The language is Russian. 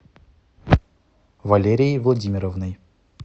валерией владимировной